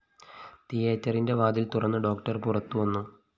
തിയറ്ററിന്റെ വാതില്‍ തുറന്ന് ഡോക്ടർ പുറത്തുവന്നു